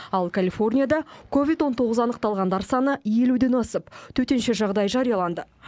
ал калифорнияда ковид он тоғыз анықталғандар саны елуден асып төтенше жағдай жарияланды